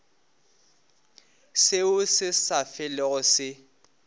seo se sa felego se